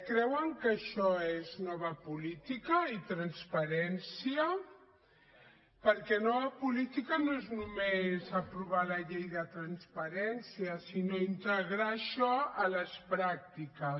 creuen que això és nova política i transparència perquè nova política no és només aprovar la llei de transparència sinó integrar això a les pràctiques